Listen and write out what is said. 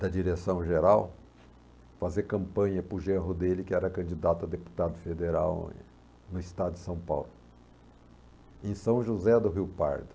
da direção-geral, fazer campanha para o genro dele, que era candidato a deputado federal no estado de São Paulo, em São José do Rio Pardo.